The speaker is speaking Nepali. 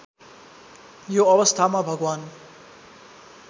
यो अवस्थामा भगवान्